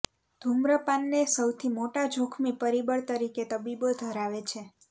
ધૂમ્રપાનને સૌથી મોટા જોખમી પરિબળ તરીકે તબીબો ધરાવે છે